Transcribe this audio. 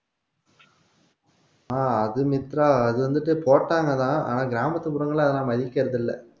ஆஹ் அது மித்ரா அது வந்துட்டு போட்டாங்கதான் ஆனா கிராமத்து புறங்களை அதலாம் மதிக்கிறது இல்ல